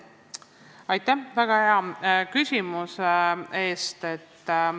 Aitäh väga hea küsimuse eest!